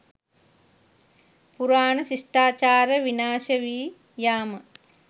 පුරාණ ශිෂ්ටාචාර විනාශවී යාම